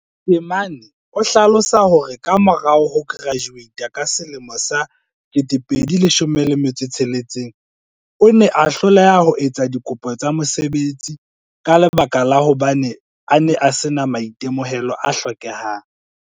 Temane o hlalosa hore ka morao ho kerajuweita ka selemo sa 2016 o ne a hloleha ho etsa dikopo tsa mosebetsi ka lebaka la hobane a ne a sena maitemohelo a hlokehang.